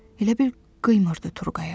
Elə bil qıymırdı Turqaya.